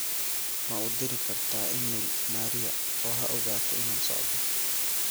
ma u dhiri kartaa iimayl maria oo ha ogaato inaan socdo